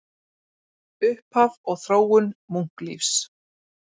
Upphaf og þróun munklífis